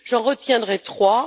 J'en retiendrai trois.